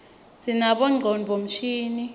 sinabonyconduo msihal